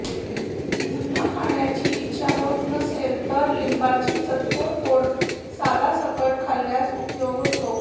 अन्न खाण्याची इच्छा होत नसेत तर लिंबाची चतकोर फोड सालासकट खाल्ल्यास उपयोग होतो